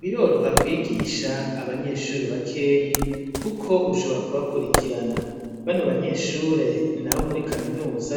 Biroroha kwigisha abanyeshure bakeyi kuko ushobora kubakurikirana bano banyeshure ni abo muri kaminuza